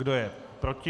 Kdo je proti?